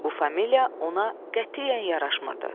Bu familiya ona qətiyyən yaraşmırdı.